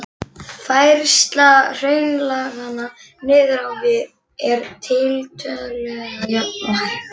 Færsla hraunlaganna niður á við er tiltölulega jöfn og hæg.